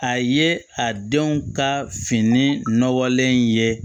A ye a denw ka fini nɔgɔlen in ye